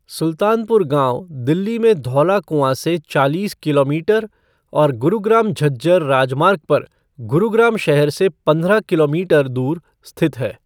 सुल्तानपुर गाँव दिल्ली में धौला कुँआ से चालीस किलोमीटर और गुरुग्राम झज्जर राजमार्ग पर गुरुग्राम शहर से पंद्रह किलोमीटर दूर स्थित है।